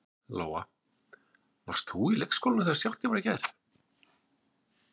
Lóa: Varst þú á leikskólanum þegar skjálftinn var í gær?